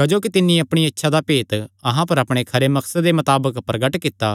क्जोकि तिन्नी अपणिया इच्छा दा भेत अहां पर अपणे खरे मकसदे मताबक प्रगट कित्ता